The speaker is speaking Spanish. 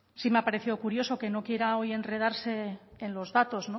sí me ha parecido curioso que no quiera hoy enredarse en los datos